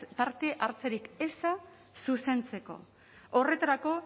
parte hartzerik eza zuzentzeko horretarako